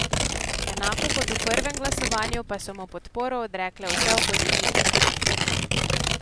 Enako kot v prvem glasovanju, pa so mu podporo odrekle vse opozicijske stranke.